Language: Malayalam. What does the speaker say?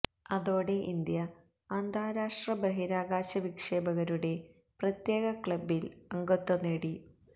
അതോടെ ഇന്ത്യ അന്താരാഷ്ട്ര ബഹിരാകാശ വിക്ഷേപകരുടെ പ്രത്യേക ക്ലബ്ബിൽ അംഗത്വം നേടി